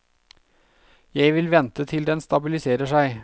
Jeg vil vente til den stabiliserer seg.